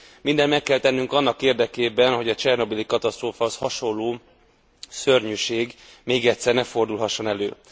Mindent meg kell tennünk annak érdekében, hogy a csernobili katasztrófához hasonló szörnyűség még egyszer ne fordulhasson elő.